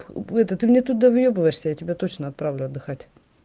это ты мне тут довыебываешся я тебя точно отправлю отдыхать